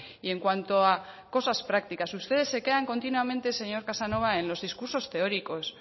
y en cuanto a cosas prácticas ustedes se quedan continuamente señor casanova en los discursos teóricos